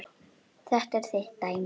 Þetta er þitt dæmi.